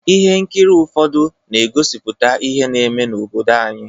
Ihe nkiri ụfọdụ na-egosipụta ihe na-eme n’obodo anyị.